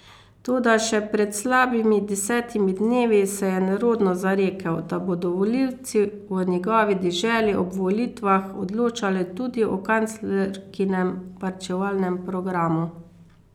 Toda še pred slabimi desetimi dnevi se je nerodno zarekel, da bodo volilci v njegovi deželi ob volitvah odločali tudi o kanclerkinem varčevalnem programu.